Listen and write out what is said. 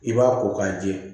I b'a ko k'a jɛ